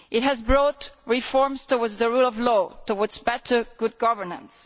It has brought reforms towards the rule of law, towards better governance.